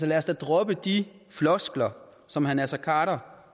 lad os da droppe de floskler som herre naser khader